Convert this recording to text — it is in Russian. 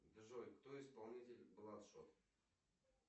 джой кто исполнитель бладшот